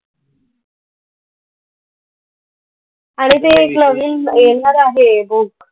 आणि ते एक नवीन येणार आहे book.